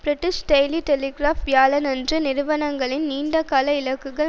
British Daily Telegraph வியாழனன்று நிறுவனங்களின் நீண்ட கால இலக்குகள்